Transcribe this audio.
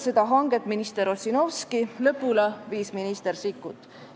Seda hanget alustas minister Ossinovski, lõpule viis minister Sikkut.